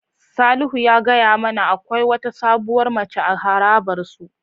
Salihu ya gaya mana akwai wata sabuwar mace a harabar su.